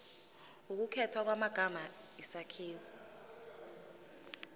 ukukhethwa kwamagama isakhiwo